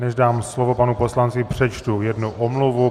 Než dám slovo panu poslanci, přečtu jednu omluvu.